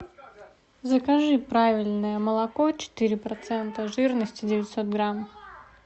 закажи правильное молоко четыре процента жирности девятьсот грамм